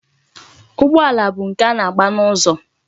Ụgbọala bụ nke a na-agba n'ụzọ.